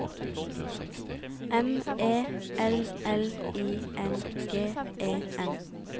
M E L L I N G E N